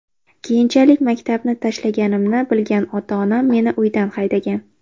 Keyinchalik maktabni tashlaganimni bilgan ota-onam meni uydan haydagan.